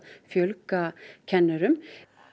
fjölga kennurum